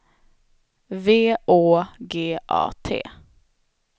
V Å G A T